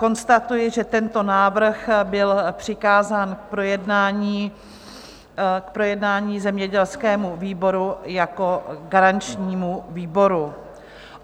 Konstatuji, že tento návrh byl přikázán k projednání zemědělskému výboru jako garančnímu výboru.